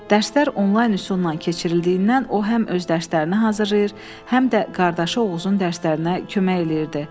Dərslər onlayn üsulla keçirildiyindən o həm öz dərslərini hazırlayır, həm də qardaşı Oğuzun dərslərinə kömək eləyirdi.